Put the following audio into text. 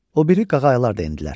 O biri qağaylar da endilər.